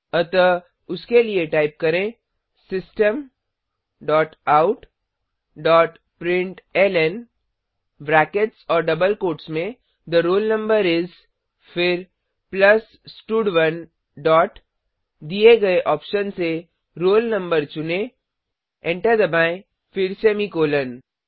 अतः उसके लिए टाइप करें system dot out dot println brackets और डबल कोट्स में थे रोल नंबर इस फिर प्लस स्टड1 डॉट दिए गए ऑप्शन से roll no चुनें एंटर दबाएँ फिर सेमीकॉलन